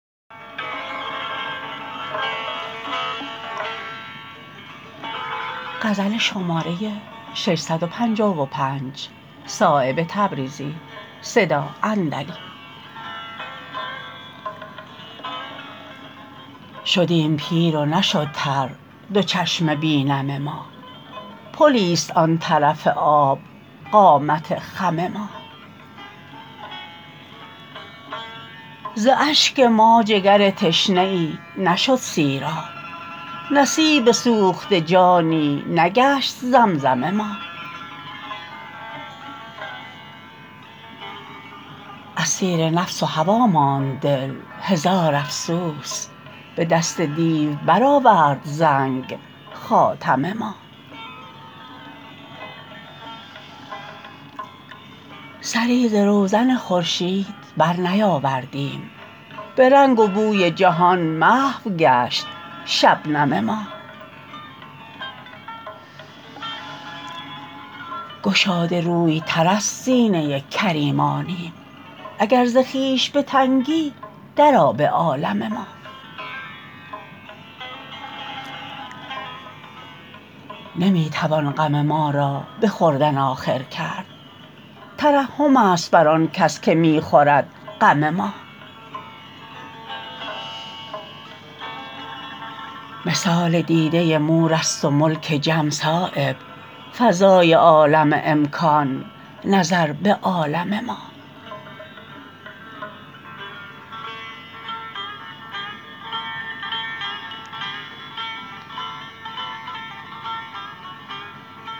شدیم پیر و نشد تر دو چشم بی نم ما پلی است آن طرف آب قامت خم ما ز اشک ما جگر تشنه ای نشد سیراب نصیب سوخته جانی نگشت زمزم ما اسیر نفس و هوا ماند دل هزار افسوس به دست دیو برآورد زنگ خاتم ما سری ز روزن خورشید برنیاوردیم به رنگ و بوی جهان محو گشت شبنم ما گشاده روی تر از سینه کریمانیم اگر ز خویش به تنگی درآ به عالم ما نمی توان غم ما را به خوردن آخر کرد ترحم است بر آن کس که می خورد غم ما مثال دیده مورست و ملک جم صایب فضای عالم امکان نظر به عالم ما